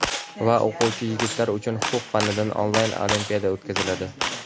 va o‘quvchi yigitlar uchun huquq fanidan onlayn olimpiada o‘tkaziladi.